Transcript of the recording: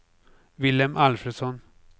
Vilhelm Alfredsson